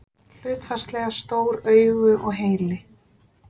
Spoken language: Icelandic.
Hlutfallslega stór augu og heili.